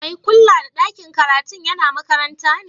Mai kulla da ɗakin karatun yana makaranta ne?